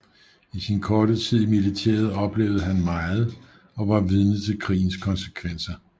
I sin korte tid i militæret oplevede han meget og var vidne til krigens konsekvenser